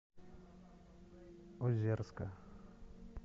озерска